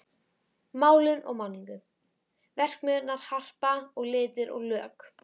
Málun og málningu: Verksmiðjurnar Harpa og Litir og lökk.